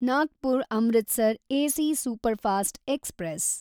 Nagpur Amritsar AC superfast express